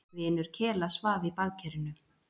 Vinur Kela svaf í baðkerinu.